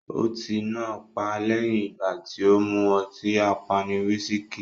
Ọtí náà pá lẹ́yìn ìgbà tì o mú ọtí apani "wisiki".